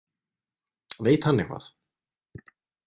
Veit hann eitthvað?